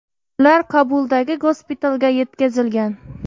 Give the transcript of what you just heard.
Ular Kobuldagi gospitalga yetkazilgan.